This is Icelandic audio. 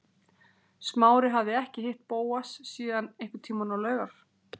Smári hafði ekki hitt Bóas síðan einhvern tíma á laugar